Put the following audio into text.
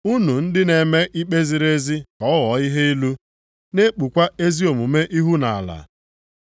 Unu ndị na-eme ikpe ziri ezi ka ọ ghọọ ihe ilu, na-ekpukwa ezi omume ihu nʼala.